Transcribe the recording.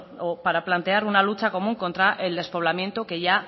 o para plantear una lucha común contra el despoblamiento que ya